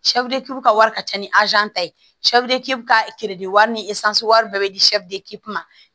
ka wari ka ca ni ta ye ka wari ni wari bɛɛ bi di ma